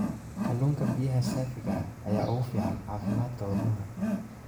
Kalluunka biyaha saafiga ah ayaa ugu fiican caafimaadka wadnaha.